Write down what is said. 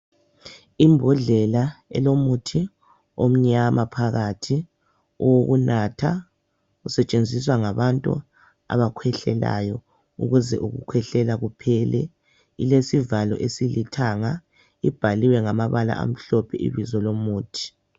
Imbodlela elomuthi omnyama phakathi owokunatha usetshenziswa ngabantu abakhwehlelayo ukuze ukukhwehlela kuphele ilesivalo esilithanga ibhaliwe ngamabala amhlophe ibizo lomuthi.